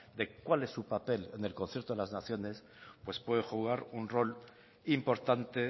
de cuál es su papel en el concierto de las naciones pues puede jugar un rol importante